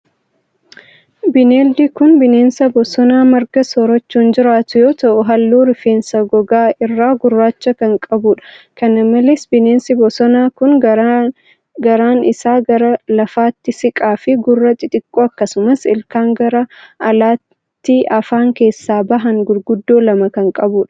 Bineeldi kun, bineensa bosonaa marga soorachuun jiraatu yoo ta'u, haalluu rifeensa gogaa irraa gurraacha kan qabuu dha. Kana malees bineensi bosonaa kun ,garaan isaa gara lafaatti siqaa fi gurra xixiqqoo akkasumas ilkaan gara alaatti afaan keessaa bahan guguddoo lama kan qabuu dha.